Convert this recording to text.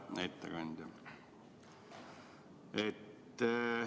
Hea ettekandja!